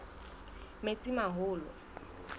metsimaholo